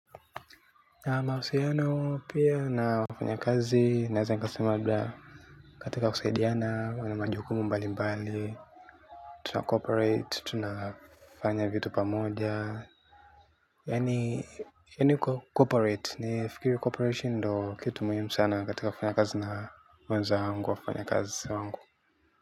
Nina mahusiano pia na wafanyakazi, naweza katika kusaidiana, na majukumu mbali mbali, tuna cooperate, tuna fanya vitu pamoja. Yaani cooperate, nafikiri cooperation ndio kitu muhimu sana kati ya wafanyakazi na mwenzangu wafanyakazi wangu.